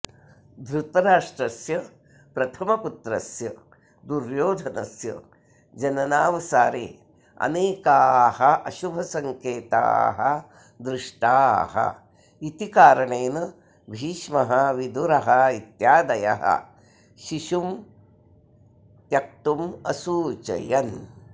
धृतराष्ट्रस्य प्रथमपुत्रस्य दुर्योधनस्य जननावसारे अनेकाः अशुभसङ्केताः दृष्टाःइति कारणेन भीष्मः विदुरः इत्यादयः शिशुं त्यक्तुम् असूचयन्